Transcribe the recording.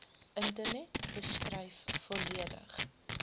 internet beskryf volledig